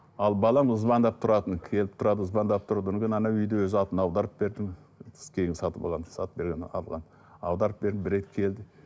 ал балам звондап тұратын келіп тұрады звондап тұрды одан кейін үйді өз атына аударып бердім кейін сатып алған сатып жібергнен алған аударып бердім бір рет келді